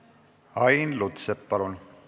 Ain Lutsepp, palun!